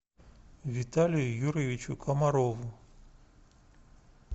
виталию юрьевичу комарову